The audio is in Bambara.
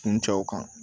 Kun cɛw kan